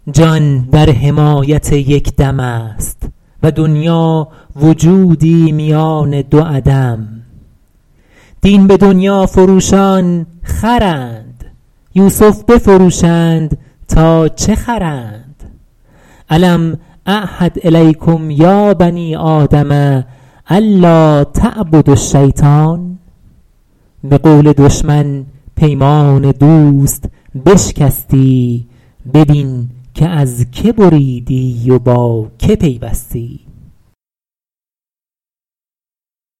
جان در حمایت یک دم است و دنیا وجودی میان دو عدم دین به دنیا فروشان خرند یوسف بفروشند تا چه خرند الم اعهد الیکم یا بنی آدم ان لاتعبدوا الشیطان به قول دشمن پیمان دوست بشکستی ببین که از که بریدی و با که پیوستی